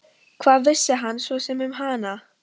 Hvað vissi hann svo sem um hana?